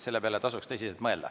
Selle peale tasuks tõsiselt mõelda.